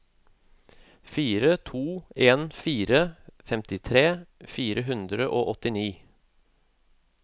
fire to en fire femtitre fire hundre og åttini